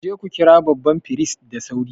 Ku je ku kira babban firist da sauri!